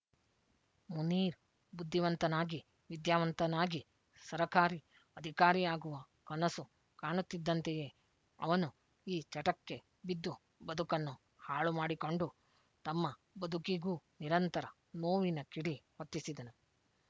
ಮುನೀರ್ ಬುದ್ಧಿವಂತನಾಗಿ ವಿದ್ಯಾವಂತನಾಗಿ ಸರಕಾರಿ ಅಧಿಕಾರಿಯಾಗುವ ಕನಸು ಕಾಣುತ್ತಿದ್ದಂತೆಯೇ ಅವನು ಈ ಚಟಕ್ಕೆ ಬಿದ್ದು ಬದುಕನ್ನು ಹಾಳು ಮಾಡಿಕೊಂಡು ತಮ್ಮ ಬದುಕಿಗೂ ನಿರಂತರ ನೋವಿನ ಕಿಡಿ ಹೊತ್ತಿಸಿದನು